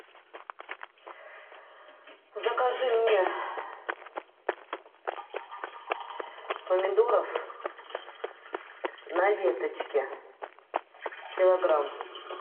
закажи мне помидоров на веточке килограмм